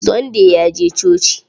Sunday ya je coci.